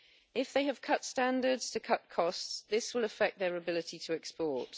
If they have cut standards to cut costs, this will affect their ability to export.